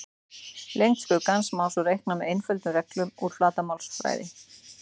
Lengd skuggans má svo reikna með einföldum reglum úr flatarmálsfræði.